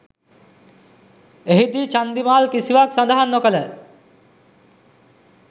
එහිදී චන්දිමාල් කිසිවක්‌ සඳහන් නොකළ